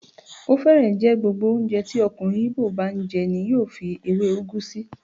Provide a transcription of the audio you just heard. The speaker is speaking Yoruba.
Ó fẹ́rẹ̀ẹ́ jẹ́ gbogbo oúnjẹ tí ọkùnrin Igbo bá n jẹ ní yóò fi èwé ugu sí.